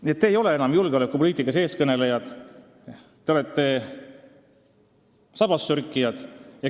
Nii et teie ei ole enam julgeolekupoliitikas eestkõnelejad, te olete sabassörkijad.